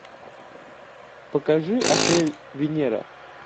покажи отель венера